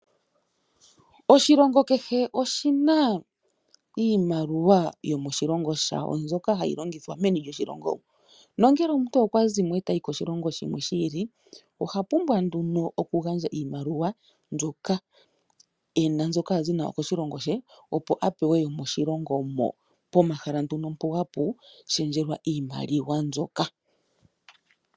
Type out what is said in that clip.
Oshilongo kehe oshi na iimaliwa yomoshilongo shawo mbyoka hayi longithwa meni lyoshilongo. Nongele omuntu okwa zimo e ta yi koshilongo shimwe shi ili oha pumbwa nduno okugandja iimaliwa mbyoka e na mbyoka a zi nayo koshilongo she, opo a pewe yomoshilongo mo. Pomahala nduno mpo hapu shendjelwa iimaliwa mbyoka.